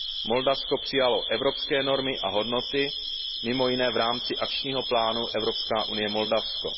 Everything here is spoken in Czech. Moldavsko přijalo evropské normy a hodnoty, mimo jiné v rámci akčního plánu EU Moldavsko.